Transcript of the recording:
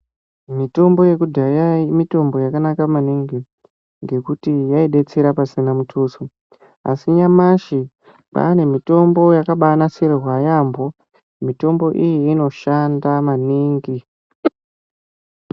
Mutombo yekudhaya mitombo yakanaka maningi ngekuti yaidetsera pasina mutuso asi nyamashi kwaane mitombo yakabaanasirwa yaampo mutombo iyi inoshanda maningi.